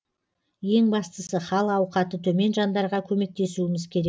ең бастысы хал ауқаты төмен жандарға көмектесуіміз керек